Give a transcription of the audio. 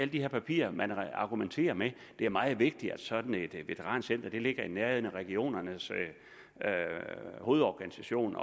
de her papirer at man argumenterer med at det er meget vigtigt at sådan et veterancenter ligger i nærheden af regionernes hovedorganisation